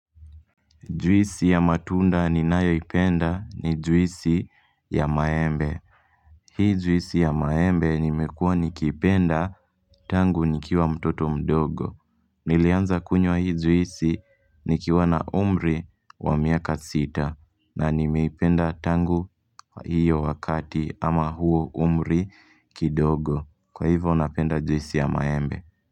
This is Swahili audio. Juisi ya matunda ninayoipenda ni juisi ya maembe. Hii juisi ya maembe nimekuwa nikiipenda tangu nikiwa mtoto mdogo. Nilianza kunywa hii juisi nikiwa na umri wa miaka sita. Na nimeipenda tangu hiyo wakati ama huo umri kidogo. Kwa hivyo napenda juisi ya maembe.